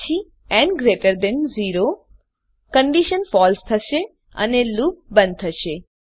તે પછી ન ગ્રેટર ધેન 0 કન્ડીશન ફળસે થશે અને લુપ બંધ થશે